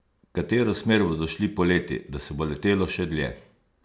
V katero smer bodo šli poleti, da se bo letelo še dlje?